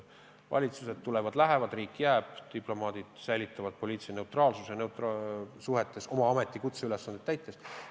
Valitsused tulevad ja lähevad, riik jääb, diplomaadid säilitavad poliitilise neutraalsuse oma ameti- ja kutseülesandeid täites.